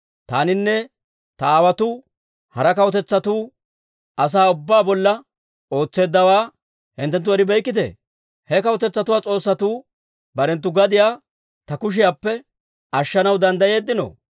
« ‹Taaninne ta aawotuu hara kawutetsatuu asaa ubbaa bolla ootseeddawaa hinttenttu eribeykkite? He kawutetsatuu s'oossatuu barenttu gadiyaa ta kushiyaappe ashshanaw danddayeeddino?